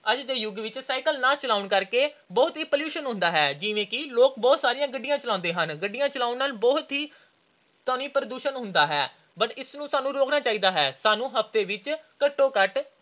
ਅੱਜ ਦੇ ਯੁੁੱਗ ਵਿੱਚ cycle ਨਾ ਚਲਾਉਣ ਕਰਕੇ ਬਹੁਤ pollution ਹੁੰਦਾ ਹੈ ਜਿਵੇਂ ਕਿ ਲੋਕ ਬਹੁਤ ਜਿਆਦਾ ਗੱਡੀਆਂ ਚਲਾਉਂਦੇ ਹਨ। ਗੱਡੀਆਂ ਚਲਾਉਣ ਨਾਲ ਬਹੁਤ ਹੀ ਧੁਨੀ ਪ੍ਰਦੂਸ਼ਣ ਹੁੰਦਾ ਹੈ। ਇਸ ਨੂੰ ਸਾਨੂੰ ਰੋਕਣਾ ਚਾਹੀਦਾ ਹੈ। ਸਾਨੂੰ ਹਫਤੇ ਵਿੱਚ ਘੱਟੋ-ਘੱਟ